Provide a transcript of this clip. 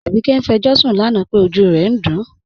Abike n fẹ̀jọṣun lánà pé ọjú rẹ̀ n dún